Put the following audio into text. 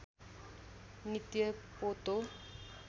नित्य पोतो